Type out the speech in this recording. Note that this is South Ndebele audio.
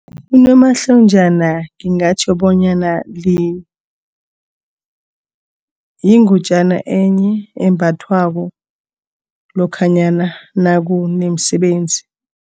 Unomahlonjana ngingatjho bonyana yingutjana enye embathwako lokhanyana nakunomsebenzi.